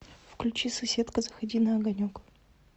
включи соседка заходи на огонек